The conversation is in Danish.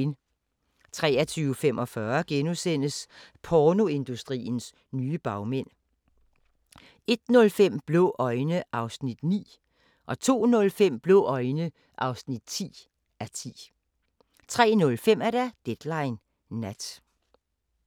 23:45: Pornoindustriens nye bagmænd * 01:05: Blå øjne (9:10) 02:05: Blå øjne (10:10) 03:05: Deadline Nat